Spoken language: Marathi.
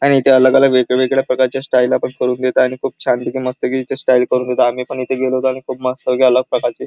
आणि ते अलग अलग वेगवेगळ्या प्रकारचे स्टाइल आपण करून घेतो आणि खूप छान पैकी मस्त पैकी स्टाइल करून देतो आम्ही पण इथे गेलो कारण खूप मस्त पैकी अलग प्रकारचे --